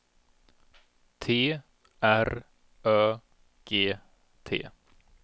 T R Ö G T